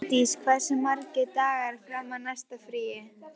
Hofdís, hversu margir dagar fram að næsta fríi?